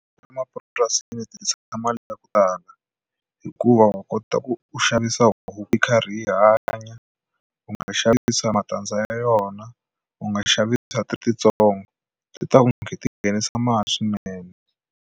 Emapurasini ti ti tshamisa mali yaku tala hikuva wa kota ku u xavisa huku yi karhi yi hanya u nga xavisa matandza ya yona u nga xavisa ti ri titsongo swi ta ku nghena tinghenisa mali swinene.